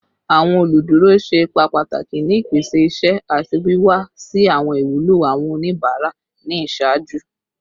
Awọn oluduro ṣe ipa pataki ni ipese iṣẹ ati wiwa si awọn iwulo awọn onibara ni iṣaaju